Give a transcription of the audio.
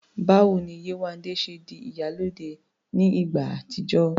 Báwo ni Yéwandé ṣe di "ìyálóde" ní ìgbà àtijọ́?